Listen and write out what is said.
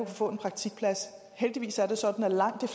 få en praktikplads heldigvis er det sådan at langt